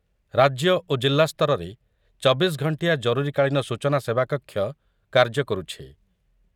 ରାଜ୍ୟ ଓ ଜିଲ୍ଲା ସ୍ତରରେ ଚବିଶ ଘଣ୍ଟିଆ ଜରୁରୀକାଳୀନ ସୂଚନା ସେବାକକ୍ଷ କାର୍ଯ୍ୟକରୁଛି ।